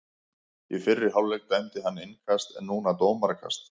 Í fyrri hálfleik dæmdi hann innkast en núna dómarakast.